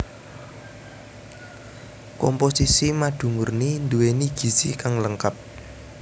Komposisi madu murni nduwéni gizi kang lengkap